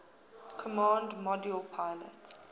command module pilot